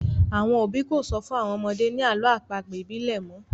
Àwọn òbí kò sọ fún àwọn ọmọdé ni àlọ́ àpagbè ibile mọ